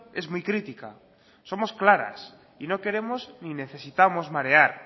es muy crítica somos claras y no queremos ni necesitamos marear